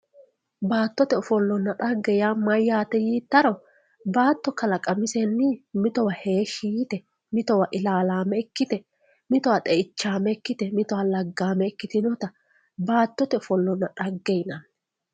baattote ofollonna yaa dhagge maati yiittaro baatto kalaqamisenni mitowa ilaalaame mitowa xeichaame ikkite mitowa laggaame ikkitinota baattote ofollonna dhagge yinanni